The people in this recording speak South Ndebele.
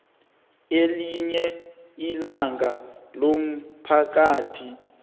elinye ilungu lomphakathi